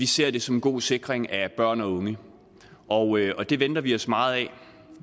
ser vi som en god sikring af børn og unge og og det venter vi os meget af